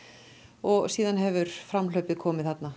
og síðan hefur framhlaupið komið þarna